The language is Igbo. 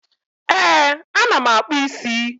Ee, ana m akpụ isi